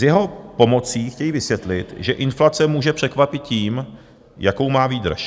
S jeho pomocí chtějí vysvětlit, že inflace může překvapit tím, jakou má výdrž.